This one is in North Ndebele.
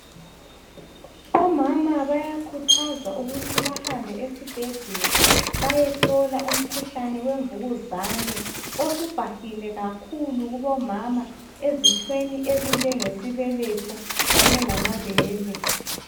Omama bayakhuthazwa ukuthi behambe esibhedlela bayehlola umkhuhlane wemvukuzane osubhahile kakhulu kubomama ezithweni ezinjenge sibeletho kanye lamabele